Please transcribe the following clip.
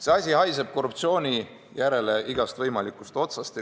See asi haiseb korruptsiooni järele igast võimalikust otsast.